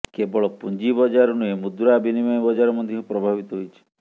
କେବଳ ପୁଞ୍ଜି ବଜାର ନୁହେଁ ମୁଦ୍ରା ବିନିମୟ ବଜାର ମଧ୍ୟ ପ୍ରଭାବିତ ହୋଇଛି